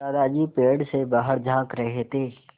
दादाजी पेड़ से बाहर झाँक रहे थे